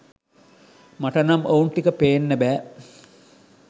මට නම් ඔවුන් ටික පේන්න බැහැ